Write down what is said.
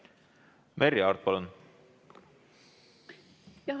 Merry Aart, palun!